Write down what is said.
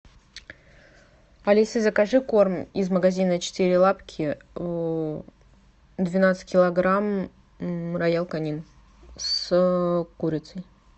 алиса закажи корм из магазина четыре лапки двенадцать килограмм роял канин с курицей